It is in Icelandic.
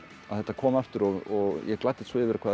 að þetta kom aftur og ég gladdist svo yfir hvað þetta